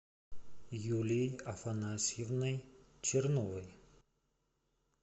юлией афанасьевной черновой